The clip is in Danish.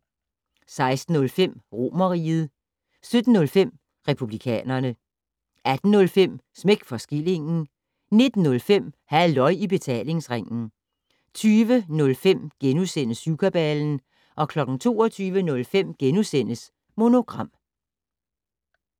16:05: Romerriget 17:05: Republikanerne 18:05: Smæk for skillingen 19:05: Halløj i Betalingsringen 20:05: Syvkabalen * 22:05: Monogram *